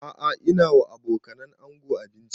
A'a ina ba wa abokanan ango abinci